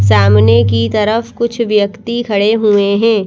सामने की तरफ कुछ व्यक्ति खड़े हुए हैं।